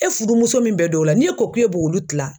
E fudumuso min bɛ dɔ la n'e ko k'e b'olu tila